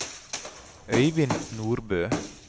Øivind Nordbø